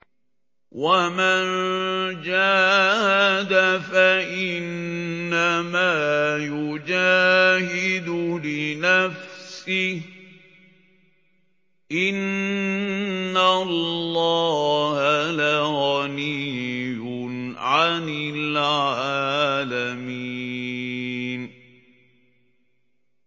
وَمَن جَاهَدَ فَإِنَّمَا يُجَاهِدُ لِنَفْسِهِ ۚ إِنَّ اللَّهَ لَغَنِيٌّ عَنِ الْعَالَمِينَ